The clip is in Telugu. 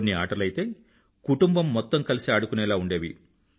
కొన్ని ఆటలు అయితే కుటుంబం మొత్తం కలిసి ఆడుకునేలా ఉండేవి